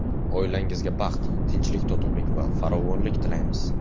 Oilangizga baxt, tinchlik-totuvlik va farovonlik tilaymiz.